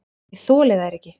Ég þoli þær ekki.